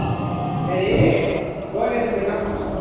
சரி லோகேஷை போயி என்னா பண்ணலாம்